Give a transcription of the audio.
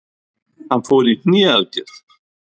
Hann fór í hné aðgerð.